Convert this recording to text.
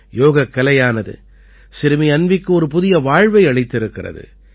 யோகக்கலையானது சிறுமி அன்வீக்கு ஒரு புதிய வாழ்வை அளித்திருக்கிறது